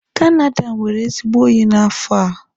Canada nwere ezigbo oyi n'afọ a.